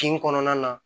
Kin kɔnɔna na